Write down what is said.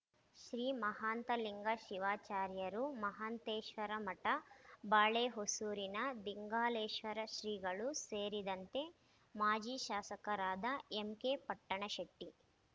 ಶ್ರೀ ಮಾಹಾಂತಲಿಂಗ ಶಿವಾಚಾರ್ಯರು ಮಾಹಾಂತೇಶ್ವರಮಠ ಬಾಳೆಹೊಸೂರಿನ ದಿಂಗಾಲೇಶ್ವರ ಶ್ರೀಗಳು ಸೇರಿದಂತೆ ಮಾಜಿ ಶಾಸಕರಾದ ಎಂಕೆಪಟ್ಟಣಶೆಟ್ಟಿ